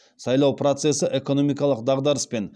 сайлау процесі экономикалық дағдарыс пен